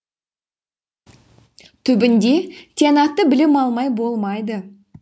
түбінде тиянақты білім алмай болмайды